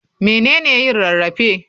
Mene ne yin rarrafe?